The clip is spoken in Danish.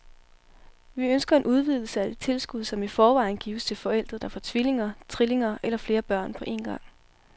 Vi ønsker en udvidelse af det tilskud, som i forvejen gives til forældre, der får tvillinger, trillinger eller flere børn på en gang.